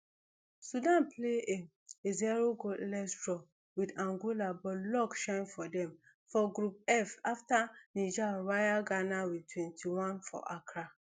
sudan play a a zero goalless draw wit angola but luck shine for dem for group f afta niger wire ghana wit twenty-one for accra